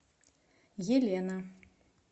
елена